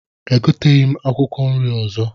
Egoteghị m akwụkwọ nri ọzọ